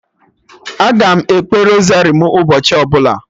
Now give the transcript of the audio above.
Aga m ekpe rosari mụ ụbọchị ọbụla